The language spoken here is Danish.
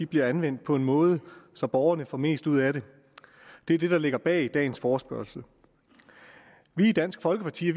bliver anvendt på en måde så borgerne får mest ud af det det er det der ligger bag dagens forespørgsel vi i dansk folkeparti